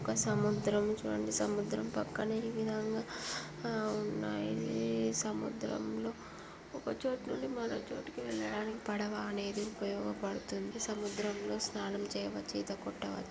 చిత్రం చూడండి సముద్రం పక్కనే విధంగా ఉన్నాయి ఇది సముద్రంలో ఒక చోటు నుంచి మరో చోటుకు వెళ్లడానికి పడవ అనేది ఉపయోగపడుతుంది సముద్రంలో స్నానం చేయవచ్చు ఈత కొట్టాలి.